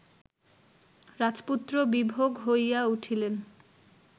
রাজপুত্র বিভোগ হইয়া উঠিলেন